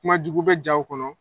Kuma jugu bɛ jaw kɔnɔ.